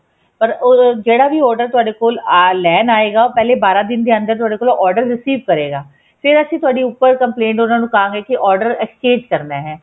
ਪਰ ਉਹ ਜਿਹੜਾ ਵੀ order ਤੁਹਾਡੇ ਕੋਲ ਲੈਣ ਆਏਗਾ ਉਹ ਪਹਿਲੇ ਬਾਰਾਂ ਦਿਨ ਦੇ ਅੰਦਰ ਤੁਹਾਡੇ ਕੋਲ order receive ਕਰੇਗਾ ਫ਼ੇਰ ਅਸੀਂ ਤੁਹਾਡੀ ਉੱਪਰ complaint ਉਹਨਾ ਨੂੰ ਖਹਾਗੇ ਕੀ order exchange ਕਰਨਾ ਹੈ